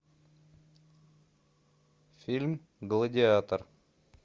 фильм гладиатор